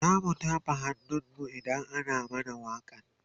zamu tafa hannun mu idan ana mana wakan